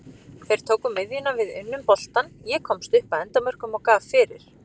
Þeir tóku miðjuna, við unnum boltann, ég komst upp að endamörkum og gaf fyrir.